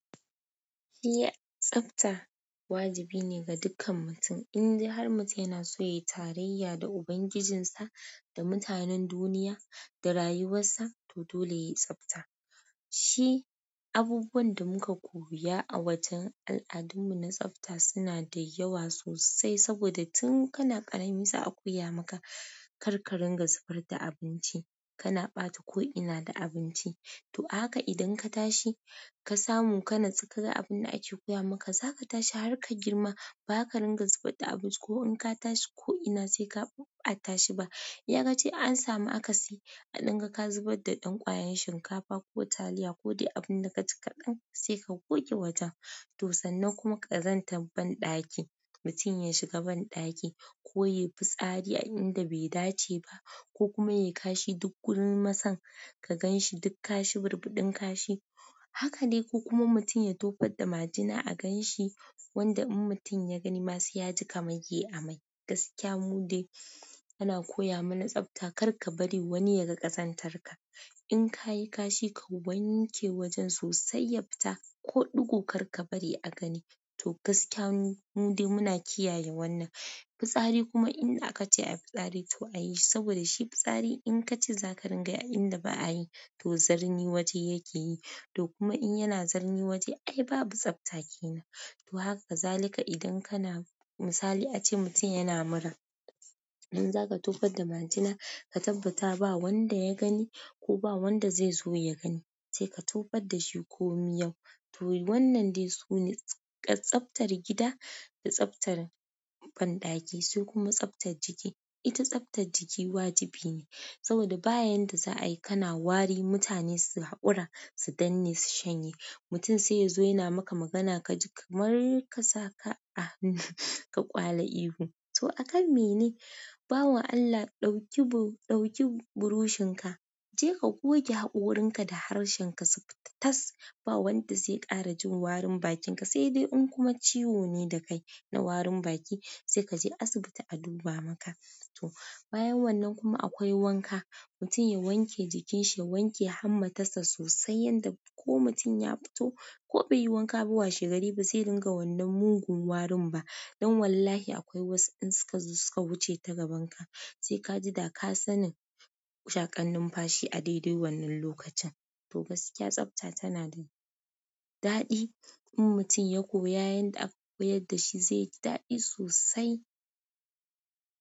Iya tsafta wajibi ne ga dukkan mutum, indai har mutum yana so ya yi tarayya da ubangijinsa da mutanen duniya da rayuwarsa, to dole ya yi tsafta. Shi abubuwan da muka koya a wajen al'adunmu na tsafta suna da yawa sosai saboda tun kana ƙarami za a koya maka kar ka ringa zubar da abinci, kana ɓata ko'ina da abinci. To a haka idan ka tashi ka samu ka natsu ka ga abin da ake koya maka, za ka tashi har ka girma ba ka ringa zubar da abinci ko in ka tashi ko'ina sai ka ɓa'a tashi ba. Iya kaci in an samu akasi a danga ka zubar da dan ƙwayar shinkafa ko taliya ko dai abinda kaci kaɗan sai ka goge wajen toh sannan kuma kazantar ban dakimutun ya shiga ban ɗaki ko yayi fitsari ko inda bai dace ba ko kuma yayi kashi duk gurin masai ka ganshi duk kashi gurin burbudin kashi. Hakane ko kuma mutum ya tofar da majina a gan shi wanda in mutum ya gani ma sai yaji kaman yayi amai. Gaskiya mu dai ana koya mana tsafta kar ka bari wani ya ga ƙazantarka. In kayi kashi ka wanke wajen sosai ya fita ko dingo karka bari a gani to gaskiya mu dai muna kiyaye wannan fitsari kuma inda aka ce a yi fitsari to a yi saboda shi fitsari in ka ci za ka ringa a inda ba a yi to zarni waje yake yi. To kuma in yana zarni waje ai babu tsafta kenan. To haka zalika idan kana misali ace mutum yana mura, in za ka tofar da majina ka tabbata ba wanda ya gani ko ba wanda zai zo ya gani sai ka tofar da shi ko miyau. To wannan dai sune tsaftar gida da tsaftar banɗaki sai kuma tsaftar jiki. Ita tsaftar jiki wajibi ne saboda bayan da za a yi kana wari mutane su haƙura, su danne, su shanye. Mutum sai ya zo yana maka magana ka ji kamar ka sa ka ka ƙwale ihu. To akan me ne? Bawan Allah ɗauki bu-ɗauki burushin ka je ka goge haƙorinka da harshen ka su fita tas. Ba wanda zai ƙara jin warin bakinka sai dai in kuma ciwo ne da kai na warin baki sai ka je asibiti a duba maka. To bayan wannan kuma akwai wanka, mutum ya wanke jikin shi, ya wanke hanmata sa sosai yadda ko mutum ya fito ko bai yi wanka ba washe gari ba sai ringa wannan mugun warin ba. Don wallahi akwai wasu in suka zo suka wuce ta gaban ka sai ka ji da ka sanin shaƙar nunfashi a daidai wannan lokacin. Toh gaskiya tsafta tanada daɗi in mutun ya koya yarda aka koyar dashi zaiji daɗi sosai.